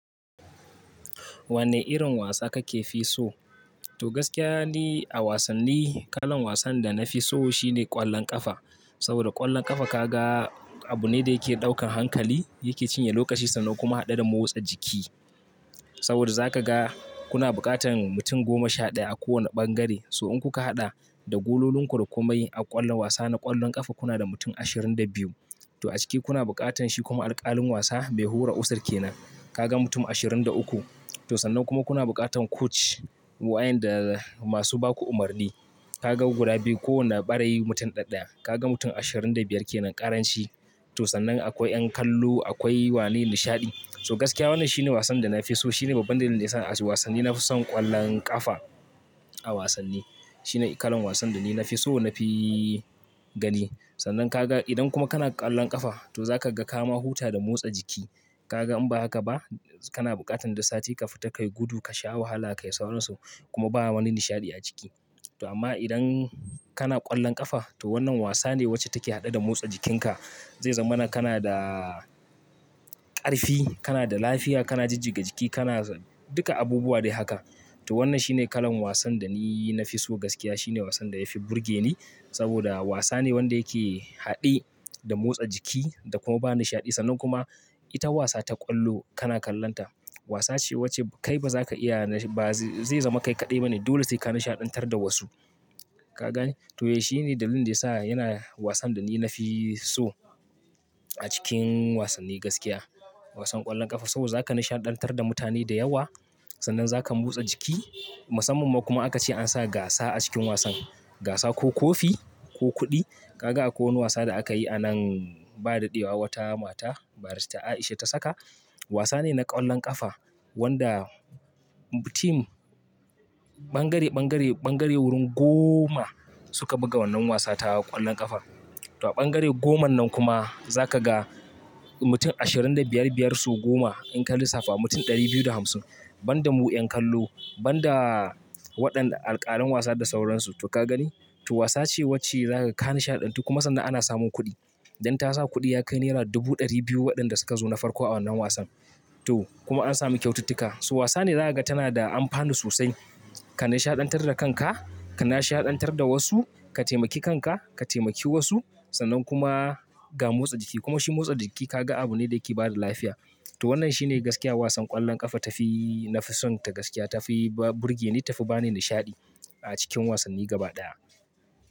Wane irin wasa kakefi so? To gaskiya ni a wasanni kalan wasan da nafi so shine ƙwallon ƙafa. Saboda ƙwallon ƙafa ka ga abu ne da yake ɗaukan hankali, yake cinye lokaci sannan kuma haɗe da motsa jiki. Saboda za ka ga kuna buƙatan mutum goma sha ɗaya a kowane ɓangare. So in kuka haɗa da gololin ku da komai a ƙwallon wasa na ƙwallon ƙafa, kuna da mutum ashirin da biyu. To a ciki kuna buƙatan shi kuma alƙalin wasa mai hura ussar ke nan. Kaga mutum ashirin da uku. To sannan kuma kuna buƙatan coach wayanda masu baku umarni. Kaga guda biyu. Kowane ɓarayi mutum ɗaya ɗaya. Kaga mutum ashirin da biyar kenan ƙaranci. To sannan akwai yan kallo, akwai wani nishaɗi. So gaskiya wannan shine wasan da nafi so. Shine babban dalilin da yasa a wasanni nafi son ƙwallon ƙafa a wasanni. Shine kalan wasan da ni nafi so, nafi gani. Sannan ka ga idan kuma kana ƙwallon ƙafa to za ka ga ka ma huta da motsa jiki. Kaga in ba haka ba kana buƙatan duk sati ka fita, ka yi gudu, ka sha wahala, ka yi sauransu kuma ba wani nishaɗi a ciki. To amma idan kana ƙwallon ƙafa to wannan wasa ne wacce take haɗe da motsa jikinka. Zai zama kana da ƙarfi, kana da lafiya, kana jijjiga jiki, kana duka abubuwa dai haka. To wannan shine kalan wasan da ni nafi so gaskiya. Shine wasan da ya fi burge ni. Saboda wasa ne wanda yake haɗe da motsa jiki da kuma ba nishaɗi sannan kuma ita wasa ta ƙwallo kana kallonta. Wasa ce wacce kai ba za ka iya ba zai zama kai kaɗai bane. Dole sai ka nishaɗantar da wasu. Ka gani? To ya shine dalilin da yasa yana wasan da ni nafi so a cikin wasanni gaskiya. Wasan ƙwallon ƙafa saboda za ka nishaɗantar da mutane da yawa sannan za ka motsa jiki. Musamman kuma aka ce an sa gasa a cikin wasan. Gasa ko kofi ko kuɗi. Kaga akwai wani wasa da aka yi a nan ba daɗewa wata mata, Barista Aisha ta saka. Wasa ne na ƙwallon ƙafa wanda tim, ɓangare, ɓangare, ɓangare wurin goma suka buga wannan wasa ta ƙwallon ƙafa. To a ɓangare goman nan kuma za ka ga mutum ashirin da biyar biyar so goma in ka lissafa mutum ɗari biyu da hamsin. Banda mu yan kallo, banda waɗanda alƙalin wasa da sauransu. To ka gani? To wasa ce wacce za ka nishaɗantu kuma sannan ana samun kuɗi. Dan ta sa kuɗi ya kai naira dubu ɗari biyu waɗanda suka zo na farko a wannan wasan. To kuma an sami kyaututtuka. So wasa ne za ka ga tana da amfani sosai. Ka nishaɗantar da kanka, ka nishaɗantar da wasu, ka taimaki kanka, ka taimaki wasu sannan kuma ga motsa jiki. Kuma shi motsa jiki ka ga abu ne da yake bada lafiya. To wannan shine gaskiya wasan ƙwallon ƙafa tafi nafi son ta gaskiya. Tafi burge ni, tafi bani nishaɗi a cikin wasanni gaba ɗaya.